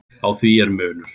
Á því er munur.